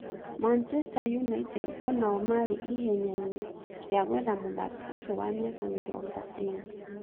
Manchester united onao marĩ ihenya inĩ rĩa gwetha mũthaki ũcio wa mĩaka mĩrongo ĩĩrĩ